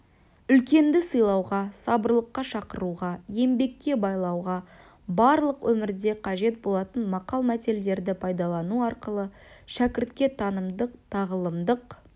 үлкенді сыйлауға сабырлыққа шақыруға еңбекке баулуға барлық өмірде қажет болатын мақал-мәтелдерді пайдалану арқылы шәкіртке танымдық-тағылымдық